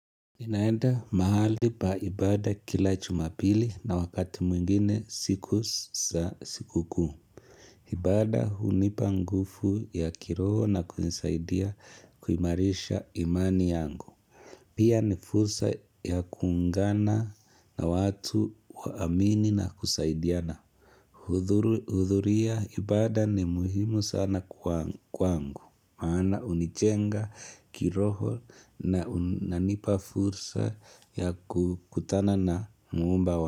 Ninaenda mahali pa ibada kila jumapili na wakati mwingine siku za sikukuu ibada hunipa nguvu ya kiroho na kunisaidia kuimarisha imani yangu Pia ni fursa ya kuungana na watu waamini na kusaidiana Huthuria ibada ni muhimu sana kwangu maana unijenga kiroho na unanipa fursa ya kukutana na muumba wangu.